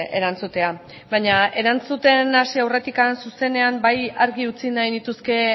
erantzutea baina erantzuten hasi aurretik zuzenean bai argi utzi nahi nituzke